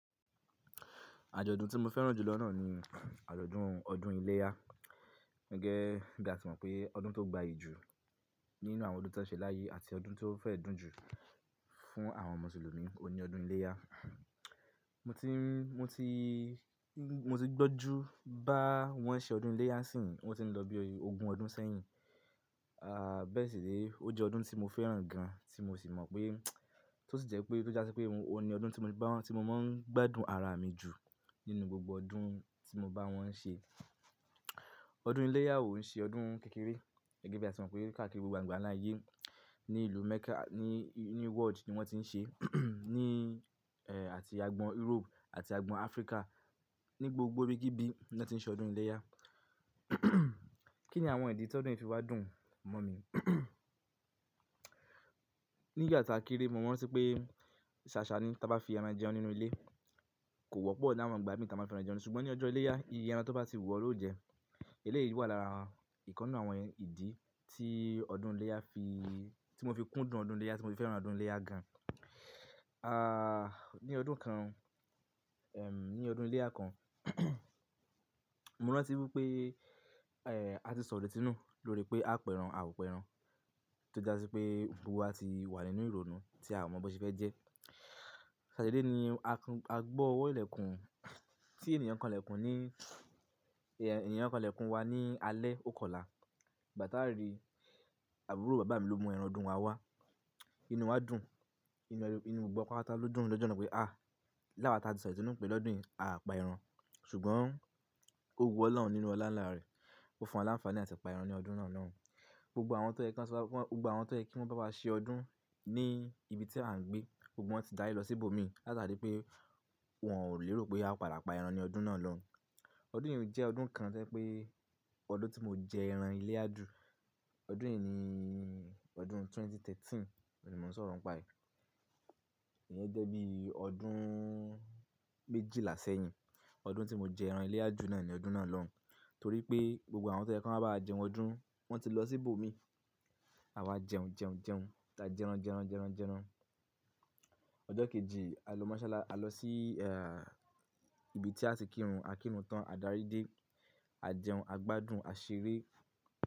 Àjọ̀dún tí mo fẹ́ràn jù lọ náà ni àjọ̀dún ọdún iléyá. Gege ba ati mo pe odun to gbayi ju, ninu awon odun ti won selaye ati odun to fe dun ju fun awon musulumi o ni odun ileya. Mo ti gbọ́n ju bá wọn n ṣe ọdún iléyá sì ń wọ́n ti ń lọ bí ogún ọdún sẹ́yìn. Bẹ́ẹ̀ sì ni ó jẹ́ ọdún tí mo fẹ́ràn gan tí mo sì mọ̀ pé tó sì jẹ́ pé tó jásí pé òní ọdún tí mo máa ń gbádùn ara mi jù nínú gbogbo ọdún tí mo bá wọn n ṣe. Ọdún iléyá òun ṣe ọdún kékeré gẹ́gẹ́ bí a ti mọ̀ pé káàkiri gbogbo àgbáńlá ayé ní ìlú Mecca ní world ni wọ́n ti ń ṣe àti agbọn Europe àti agbọn Africa ní gbogbo ibi kíbí ni wọ́n ti ń ṣe ọdún iléyá. Kí ni àwọn ìdí tí ọdún yìí fi wá dùn mọ́ mi? Ní ìgbà táa kéré mo ran tí pé ṣàṣá ni táa bá fi eran jẹun nínú ilé, kò wọ́pọ̀ láàárín àwọn ìgbà mi tí a máa fi eran jẹun. Ṣùgbọ́n ní ọjọ́ iléyá ìyẹ́ ẹran tó bá sì wù ọ́ ló jẹ. Eléyìí wà lára ìkan ninú àwọn ìdí tí ọdún iléyá fi-- tí mo fi kúndùn ọdún iléyá tí mo fi fẹ́ràn ọdún iléyá gan. Ah, ní ọdún kan, em, ní ọdún iléyá kan mo rántí wípé, eh, a ti sọ̀ irétí nù lóori pé á pẹran, a ò pẹran. Tó jásí pé gbogbo wa ti wà nínú ìrònú tí a ò mọ boṣe fẹ́ jẹ́. Ṣàṣá dedé ní a gbọ́ ọwọ́ ilẹ̀kùn tí ènìyàn kan lẹ̀kùn ní, ènìyàn kan lẹ̀kùn wa ní alẹ́ ò kòolá. Ìgbà táa rí àbúrò bàbá mi ló mú ẹran ọdún wa wá. Inú wa dùn, inú gbogbo patapata ló dùn lọ́jọ́ náà pé ah! Láwa táa ti sọ̀ irétí nù pé lọ́dún yìí a pa ẹran. Ṣùgbọ́n ó wu ọlọ́run nínú ọlá ń lá rẹ̀, ó fún aláǹfàní láti pa ẹran ní ọdún náà lọ́hun. Gbogbo awon toye ki won ba wa se odun, ni ibi ti a n gbe, gbogbo won ti dari lo si ibo mi, laatari pe won o lero pe a pa eran lodun na lohun. Ọdún yìí jẹ́ ọdún kan tó jẹ́ pé ọdún tí mo jẹ ẹran iléyá jù. Ọdún yìí ni ọdún 2013, ò ní mo ń sọ̀rọ̀ ń pa e. Ié yẹ́n jẹ́ bí ọdún méjìlá sẹ́yìn. Ọdún tí mo jẹ ẹran iléyá jù náà ni ọdún náà lọ́hun. Torí pé gbogbo àwọn tó yẹ kí wọn bá wa jẹun ọdún wọ́n ti lọ sí i bòmí. Àwa jẹun, jẹun, jẹun. Ta jẹran, jẹran, jẹran, jẹran. Ọjọ́ kejì a lọ Moshalasi, a lọ sí, eh, ibi tí a ti kírun, a kírun tán, a darí dé, a jẹun, a gbádùn, a ṣeré.